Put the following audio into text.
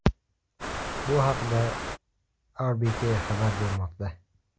Bu haqda RBK xabar bermoqda .